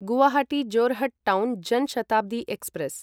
Guwahati Jorhat town Jan Shatabdi express